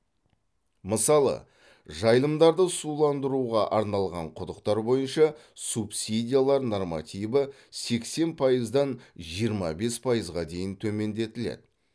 мысалы жайылымдарды суландыруға арналған құдықтар бойынша субсидиялар нормативі сексен пайыздан жиырма бес пайызға дейін төмендетіледі